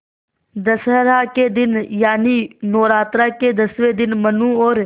दशहरा के दिन यानि नौरात्रों के दसवें दिन मनु और